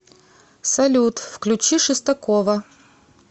салют включи шестакова